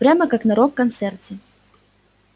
прямо как на рок-концерте